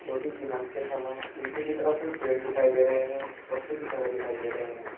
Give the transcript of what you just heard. जोकि सीमेंट के थंब है पीछे की तरफ कुछ पेड़ दिखाई दे रहे हैं और कुछ घर दिखाई दे रहे हैं।